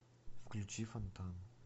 включи фонтан